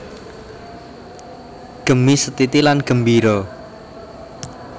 Gemi setiti lan gembira